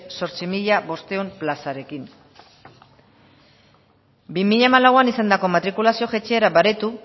zortzi mila bostehun plazarekin bi mila hamalauan izandako matrikulazio jaitsiera baretu